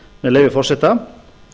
með leyfi forseta